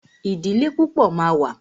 Ìdílé púpọ̀ ma wà.